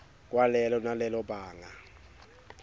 kwalelo nalelo banga